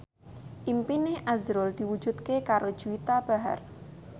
impine azrul diwujudke karo Juwita Bahar